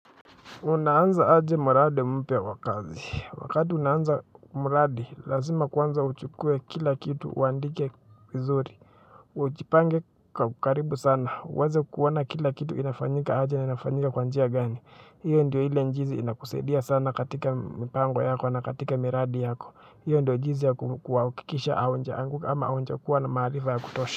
Unaanza aje mradi mpya wa kazi. Wakati unaanza mradi, lazima kwanza uchukue kila kitu, uandike vizuri. Ujipange kwa karibu sana. Uweze kuona kila kitu kinafanyika aje na inafanyika kwa njia gani. Hio ndio ile jinsi inakusaidia sana katika mpango yako na katika miradi yako. Hiyo ndo jinsi ya kuhakikisha au ama njia ya kuwa na maarifa ya kutosha.